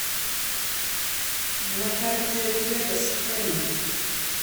на карте вегос м